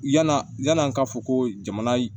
Yanaa yan'an ka fɔ ko jamana